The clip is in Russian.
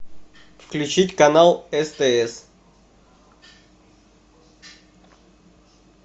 включить канал стс